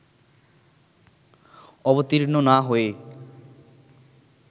অবতীর্ণ না হয়ে